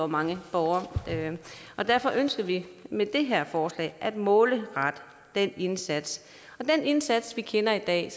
mange borgere derfor ønsker vi med det her forslag at målrette den indsats den indsats vi kender i dag